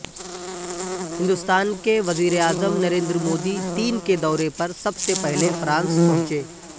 ہندوستان کے وزیراعظم نریندر مودی تین کے دورے پر سب سے پہلے فرانس پہنچے